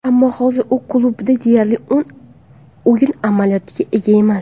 Ammo hozir u klubida deyarli o‘yin amaliyotiga ega emas.